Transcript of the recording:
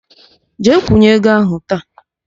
Jee kwụnye ego ahụ taa!